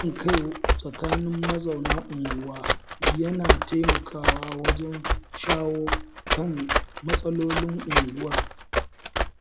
Haɗin kai tsakanin mazauna unguwa yana taimakawa wajen shawo kan matsalolin unguwar.